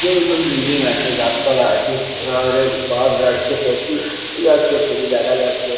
বহুতল বিল্ডিং আছে গাছপালা আছে আরে বাস যাচ্ছে ট্যাক্সি যাচ্ছে খুবই দেখা যাচ্ছে।